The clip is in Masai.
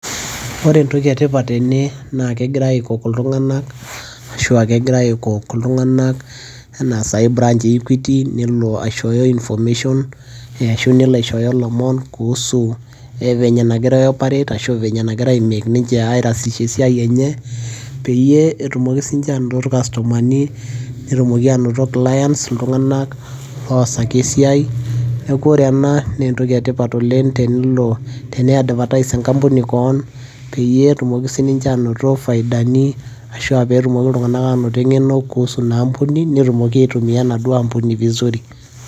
Ore entoki etipat tene naa kegirai aikok iltung'anak enaa naai branch Equity, nelo aishooyo information ashu nelo aishooyo ilomon kuhusu venye nagirai ai operate ashu venye negira ninche ai rahisisha esiai enye peyie etumoki ninche aanoto ilcustomani ashu clients, iltung'anak loosaki esiai. Neeku ore ena naa entoki etipat oleng' teni advertise enkampuni kewon peyie etumoki sininche aanoto ifaidani ashu aa pee etumoki iltung'anak aanoto eng'eno kuhusu ina ampuni , netumoki aitumia enaduo ampuni vizuri.